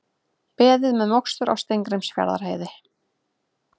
Beðið með mokstur á Steingrímsfjarðarheiði